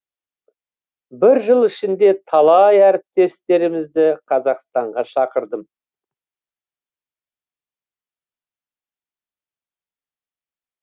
бір жыл ішінде талай әріптестерімізді қазақстанға шақырдым